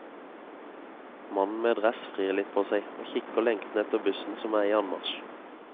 Mannen med dress vrir litt på seg, og kikker lengtende etter bussen som er i anmarsj.